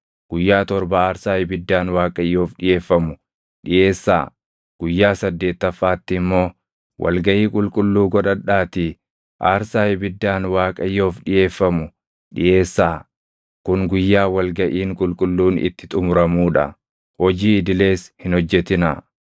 Guyyaa torba aarsaa ibiddaan Waaqayyoof dhiʼeeffamu dhiʼeessaa; guyyaa saddeettaffaatti immoo wal gaʼii qulqulluu godhadhaatii aarsaa ibiddaan Waaqayyoof dhiʼeeffamu dhiʼeessaa; kun guyyaa wal gaʼiin qulqulluun itti xumuramuu dha; hojii idilees hin hojjetinaa.